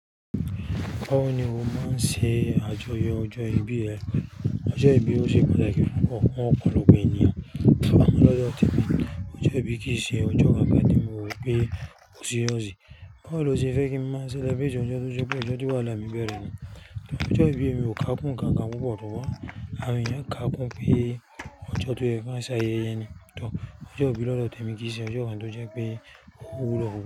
Báwo ni mo máa ń ṣe àjọyọ̀ ọjọ́ ìbí ẹ? Ọjọ́ ìbí ó ṣe pàtàkì fún ọ̀pọ̀lọpọ̀ ènìyàn. Amo lodo temi Ọjọ́ ìbí kì í ṣe ọjọ́ kan tí mo rò pé ó serious Báwo lo ṣe fẹ́ kí n máa celebrate ojọ to se pé ọjọ́ ti wahala mi bẹ̀rẹ̀ ni yen. Ọjọ́ ìbí mi ò kákún nkankan púpọ̀ Àwọn ènìyàn káàkún pé ọjọ́ tó yẹ ki won sayéye ni. Ọjọ́ ìbí lọ́dọ̀ Temi kì í ṣe ọjọ́ kan tó jẹ́ pé ó wúwo pup.